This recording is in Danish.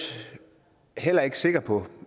heller ikke sikker på